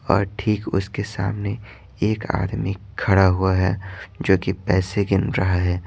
और ठीक उसके सामने एक आदमी खड़ा हुआ है जो कि पैसे गिन रहा है।